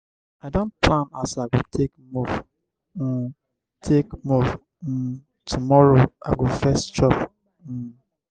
i don plan as i go take move um take move um tomorrow i go first chop. um